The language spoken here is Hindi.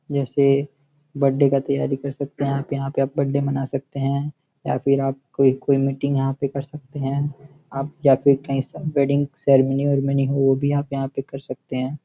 जैसे बर्थडे का तैयारी कर सकते हैं आप यहां पे आप बर्थडे मना सकते हैं या फिर आप कोई कोई मीटिंग यहां पे कर सकते हैं आप या फिर कहीं वेडिंग सेरेमनी और मनी हो वह भी आप यहां पे कर सकते हैं।